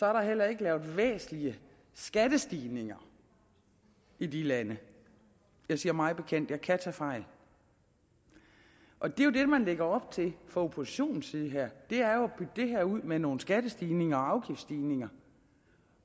er der heller ikke lavet væsentlige skattestigninger i de lande jeg siger mig bekendt jeg kan tage fejl og det er jo det man lægger op til fra oppositionens side her det er jo at bygge det her ud med nogle skattestigninger og afgiftsstigninger